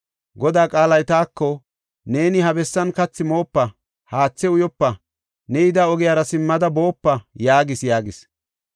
Godaa qaalay taako ‘Neeni he bessan kathi moopa, haathe uyopa, ne yida ogiyara simmada boopa’ yaagis” yaagis.